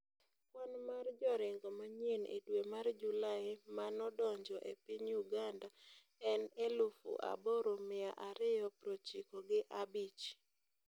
kwan mar joringo manyien e dwe ma july manodonjo e piny uganda en elufu aboro mia ariyo prochiko gi a bich.